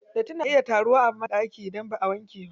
Datti na iya taruwa a banɗaki idan baʼa wankewa.